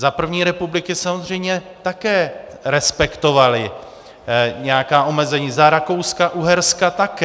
Za první republiky samozřejmě také respektovali nějaká omezení, za Rakouska-Uherska také.